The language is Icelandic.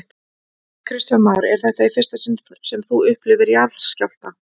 Kristján Már: Er þetta í fyrsta sinn sem þú upplifir jarðskjálfta?